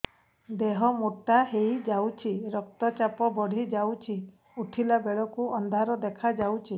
ଦେହ ମୋଟା ହେଇଯାଉଛି ରକ୍ତ ଚାପ ବଢ଼ି ଯାଉଛି ଉଠିଲା ବେଳକୁ ଅନ୍ଧାର ଦେଖା ଯାଉଛି